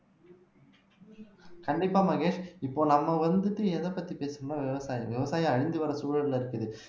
கண்டிப்பா மகேஷ் இப்போ நம்ம வந்துட்டு எதைப்பத்தி பேசுறோம்ன்னா விவசாயம் விவசாயம் அழிஞ்சு வர சூழல்ல இருக்குது